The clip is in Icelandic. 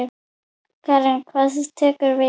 Karen: Hvað tekur við?